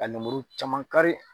Ka lemuru caman kari.